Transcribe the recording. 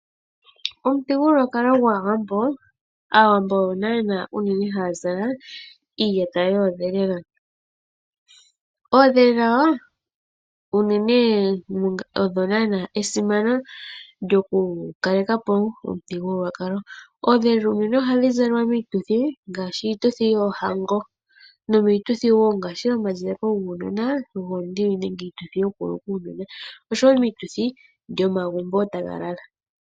Omuthigululwakalo gwAawambo, aantu ohaya zala iiyata yoondhelela. Oondhelela unene odho esimano lyokukaleka po omuthigululwakalo. Oondhelela unene ohadhi zalwa miituthi ngaashi yoohango, omazaleko guunona goonyoka nenge gokuluka uunona noshowo miituthi yomagumbo taga lala.